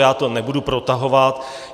Já to nebudu protahovat.